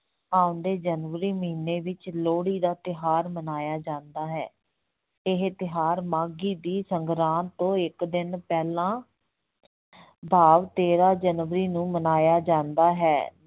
ਆਉਂਦੇ ਜਨਵਰੀ ਮਹੀਨੇ ਵਿੱਚ ਲੋਹੜੀ ਦਾ ਤਿਉਹਾਰ ਮਨਾਇਆ ਜਾਂਦਾ ਹੈ, ਇਹ ਤਿਉਹਾਰ ਮਾਘੀ ਦੀ ਸੰਗਰਾਂਦ ਤੋਂ ਇੱਕ ਦਿਨ ਪਹਿਲਾਂ ਭਾਵ ਤੇਰਾਂ ਜਨਵਰੀ ਨੂੰ ਮਨਾਇਆ ਜਾਂਦਾ ਹੈ।